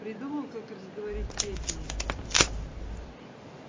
придумал как разговорить петю